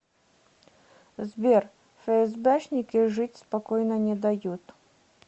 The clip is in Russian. сбер фээсбэшники жить спокойно не дают